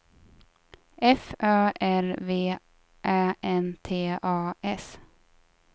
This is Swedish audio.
F Ö R V Ä N T A S